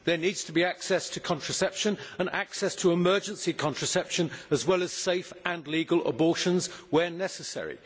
There needs to be access to contraception and access to emergency contraception, as well as to safe and legal abortions where necessary.